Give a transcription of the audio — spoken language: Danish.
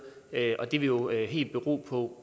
det vil jo helt bero på